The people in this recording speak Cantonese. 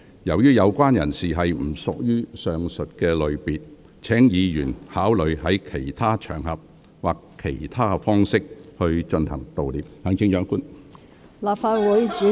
由於有關人士不屬於上述類別，請議員考慮在其他場合或以其他方式進行悼念。